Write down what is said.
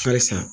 Halisa